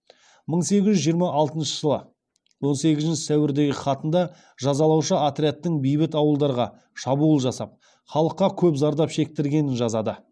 мың сегіз жүз жиырма алтыншы жылғы он сегізінші сәуірдегі хатында жазалаушы отрядтың бейбіт ауылдарға шабуыл жасап халыққа көп зардап шектіргенін жазады